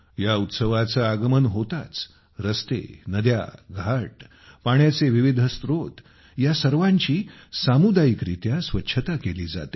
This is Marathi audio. या उत्सवाचे आगमन होताच रस्ते नद्या घाट पाण्याचे विविध स्त्रोत या सर्वांची सामुदायिकरित्या स्वच्छता केली जाते